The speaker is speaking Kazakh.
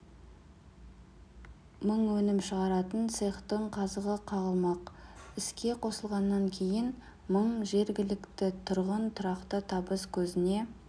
мың өнім шығаратын цехтың қазығы қағылмақ іске қосылғаннан кейін мың жергілікті тұрғын тұрақты табыс көзіне